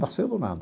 Nasceu do nada.